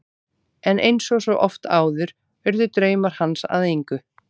En eins og svo oft áður urðu draumar hans að engu.